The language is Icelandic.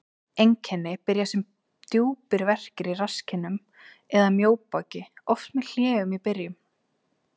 Einkenni byrja sem djúpir verkir í rasskinnum eða mjóbaki, oft með hléum í byrjun.